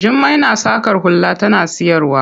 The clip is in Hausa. Jummai na saƙa hula tana siyarwa.